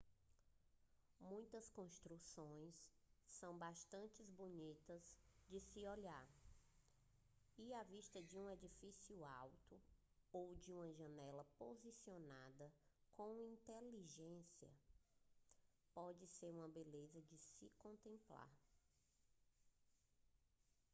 muitas construções são bastante bonitas de se olhar e a vista de um edifício alto ou de uma janela posicionada com inteligência pode ser uma beleza de se contemplar